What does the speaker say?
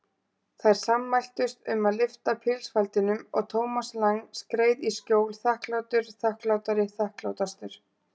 Þær sammæltust um að lyfta pilsfaldinum og Thomas Lang skreið í skjól, þakklátur, þakklátari, þakklátastur.